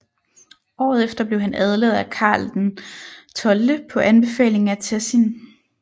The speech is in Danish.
Året efter blev han adlet af Karl XII på anbefaling af Tessin